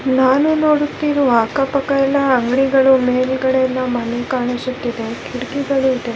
ನಾನು ನೋಡುತ್ತಿರುವ ಅಕ್ಕ ಪಕ್ಕ ಎಲ್ಲ ಅಂಗಡಿಗಳು ಮೇಲ್ಗಡೆಯಿಂದ ಮಣ್ಣು ಕಾಣಿಸುತ್ತಿದೆ ಕಿಟಕಿಗಳು ಇದೆ .